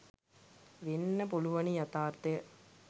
වෙන්න පුළුවනි යථාර්ථය.